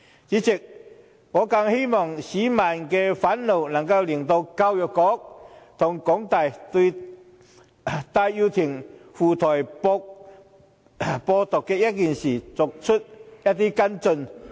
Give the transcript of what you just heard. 主席，我更希望市民的憤怒能令教育局和香港大學對戴耀廷赴台"播獨"一事作出跟進。